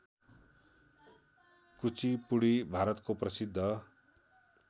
कुचिपुडी भारतको प्रसिद्ध